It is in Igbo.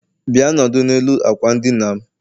Bia nọdụ n'elu akwa n' dina'm